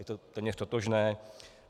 Je to téměř totožné.